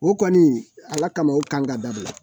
O kɔni ala kama o kan ka dabila